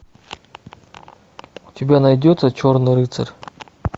у тебя найдется черный рыцарь